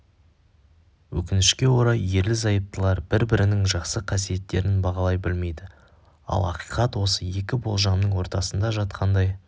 өкінішке орай ерлі зайыптылар бір-бірінің жақсы қасиеттерін бағалай білмейді ал ақиқат осы екі болжамның ортасында жатқандай